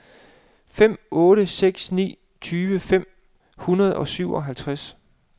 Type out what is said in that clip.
fem otte seks ni tyve fem hundrede og syvoghalvtreds